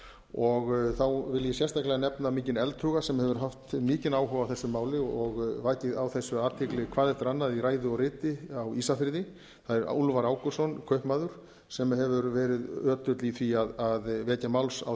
og þá vil ég sérstaklega nefna mikinn eldhuga sem hefur vakið mikinn áhuga á þessu máli og vakið á þessu athygli hvað eftir annað í ræðu og riti á ísafirði það er úlfar ágústsson kaupmaður sem hefur verið ötull í því að vekja máls á